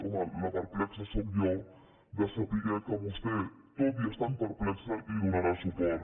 home la perplexa sóc jo de saber que vostè tot i estant perplexa hi donarà suport